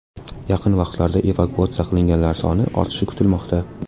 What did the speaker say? Yaqin vaqtlarda evakuatsiya qilinganlar soni ortishi kutilmoqda.